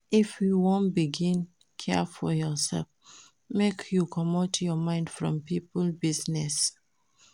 If you wan begin care for yoursef, make you comot your mind from pipo business.